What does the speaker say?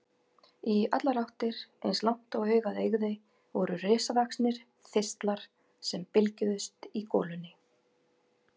Í allar áttir, eins langt og augað eygði, voru risavaxnir þistlar sem bylgjuðust í golunni.